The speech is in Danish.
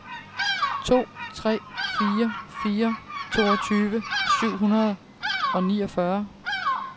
to tre fire fire toogtyve syv hundrede og niogfyrre